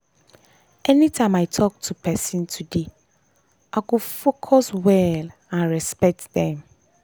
anytime i talk to person today i go focus well and respect them.